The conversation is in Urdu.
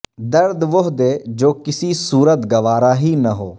درد وہ دے جو کسی صورت گوارا ہی نہ ہو